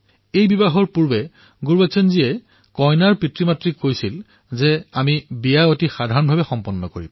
এই বিবাহৰ পূৰ্বে গুৰবচন জীয়ে কইনাৰ পিতৃমাতৃক কলে যে আমি বিয়া সাধাৰণভাৱে অনুষ্ঠিত কৰিম